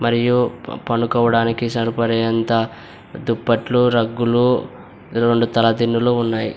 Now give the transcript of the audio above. మరియు పనుకోవడానికి సరిపడెంత దుప్పట్లు రగ్గులు రెండు తల దిండులు ఉన్నాయి.